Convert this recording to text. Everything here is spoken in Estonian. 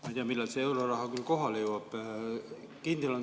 Ma ei tea, millal see euroraha kohale jõuab.